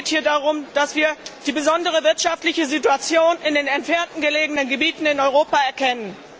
Es geht hier darum, dass wir die besondere wirtschaftliche Situation in den entfernt gelegenen Gebieten in Europa erkennen.